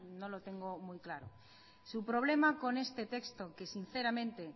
no lo tengo muy claro su problema con este texto que sinceramente